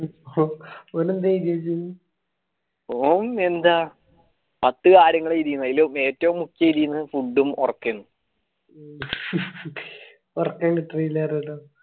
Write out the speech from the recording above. ഓൻ എന്താ പത്തു കാര്യങ്ങൾ എയ്‌തീൻ അതിലേറ്റവും മുഖ്യ ഏതാണ് food ഓർകെന്